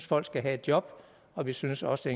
folk skal have et job og vi synes også